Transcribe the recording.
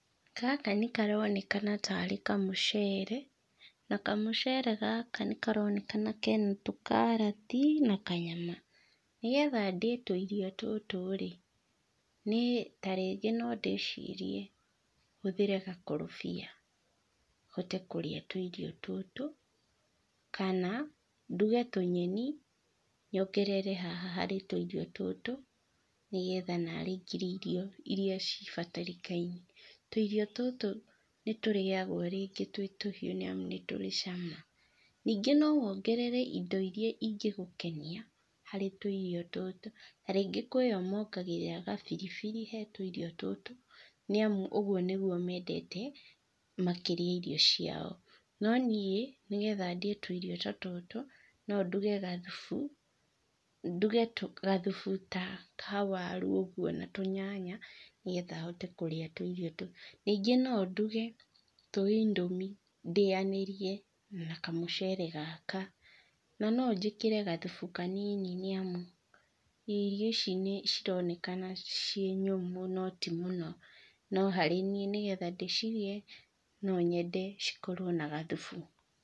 Gaka nĩ karonekana tarĩ kamũcere. Na kamũcere gaka nĩ karonekana kena tũkarati na kanyama. Nĩgetha ndĩe tũirio tũtũ rĩ, niĩ tarĩngĩ no ndĩcirie hũthĩre gakorobia, hote kũrĩa tũirio tũtũ, kana nduge tũnyeni, nyongerere haha harĩ tũirio tũtũ nĩgetha ngĩrĩe irio iria cibatarĩkaine. Tũirio tũtũ nĩ tũrĩagwo rĩngĩ twĩ tũhiũ nĩ amu nĩ tũrĩ cama. Ningĩ no wongerere indo iria ingĩgũkenia harĩ tũirio tũtũ, tarĩngĩ kwĩ ĩo mongagĩrĩra gabiribiri he tũirio tũtũ nĩ amu ũguo nĩguo mendete makĩrĩa irio ciao. No niĩ nĩgetha ndĩe tũirio ta tũtũ no nduge gathubu, nduge gathubu ta ka waru ũguo na tũnyanya nĩgetha hote kũrĩa tũirio tũtũ. Ningĩ no nduge tũ indomie ndĩanĩrie na kamũcere gaka na no njĩkĩre gathubu kanini nĩ amu, irio ici nĩ cironekana ciĩ nyũmũ no ti mũno, no harĩ niĩ nĩgetha ndĩcirĩe no nyende cikorwo na gathubu.